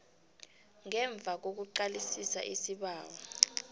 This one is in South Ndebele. ngemva kokuqalisisa isibawo